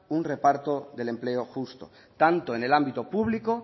un reparto del empleo justo tanto en el ámbito público